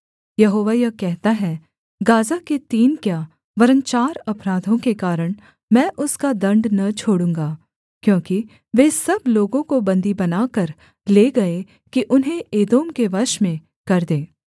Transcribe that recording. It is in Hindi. यहोवा यह कहता है गाज़ा के तीन क्या वरन् चार अपराधों के कारण मैं उसका दण्ड न छोड़ूँगा क्योंकि वे सब लोगों को बन्दी बनाकर ले गए कि उन्हें एदोम के वश में कर दें